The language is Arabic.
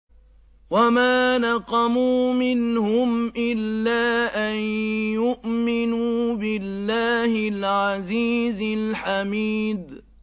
وَمَا نَقَمُوا مِنْهُمْ إِلَّا أَن يُؤْمِنُوا بِاللَّهِ الْعَزِيزِ الْحَمِيدِ